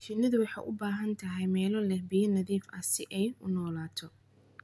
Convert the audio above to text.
Shinnidu waxay u baahan tahay meelo leh ilo biyo nadiif ah si ay u noolaato.